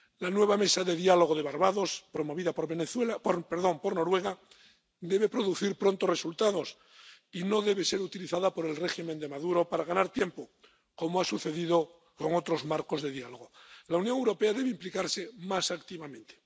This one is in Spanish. La nueva mesa de diálogo de Barbados, promovida por Noruega, debe producir pronto resultados y no debe ser utilizada por el régimen de Maduro para ganar tiempo, como ha sucedido con otros marcos de diálogo. La Unión Europea debe implicarse más activamente.